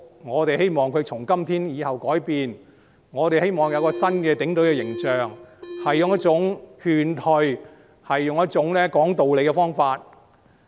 我們希望警隊從今天以後改變，我們希望有新的警隊形象，要使用勸退和講道理的方法。